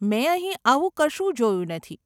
મેં અહીં આવું કશું જોયું નથી.